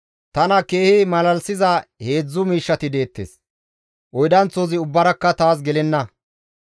Tana keehi malalisiza heedzdzu miishshati deettes; oydanththozi ubbaarakka taas gelenna.